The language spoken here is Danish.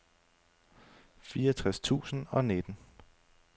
fireogtres tusind og nitten